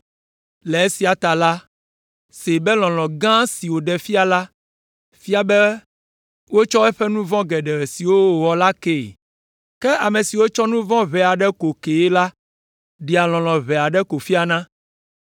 Le esia ta la, see be lɔlɔ̃ gã si wòɖe fia la fia be wotsɔ eƒe nu vɔ̃ geɖe siwo wòwɔ la kee. Ke ame si wotsɔ nu vɔ̃ ʋɛ aɖe ko kee la ɖea lɔlɔ̃ ʋɛ aɖe ko fiana.”